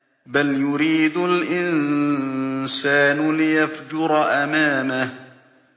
بَلْ يُرِيدُ الْإِنسَانُ لِيَفْجُرَ أَمَامَهُ